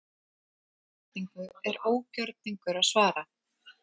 Þessari spurningu er ógjörningur að svara.